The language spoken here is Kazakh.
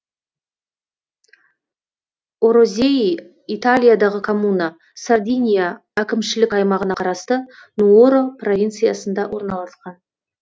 орозеи италиядағы коммуна сардиния әкімшілік аймағына қарасты нуоро провинциясында орналасқан